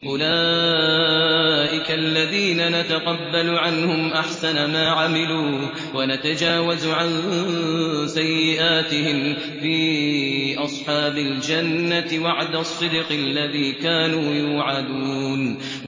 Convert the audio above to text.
أُولَٰئِكَ الَّذِينَ نَتَقَبَّلُ عَنْهُمْ أَحْسَنَ مَا عَمِلُوا وَنَتَجَاوَزُ عَن سَيِّئَاتِهِمْ فِي أَصْحَابِ الْجَنَّةِ ۖ وَعْدَ الصِّدْقِ الَّذِي كَانُوا يُوعَدُونَ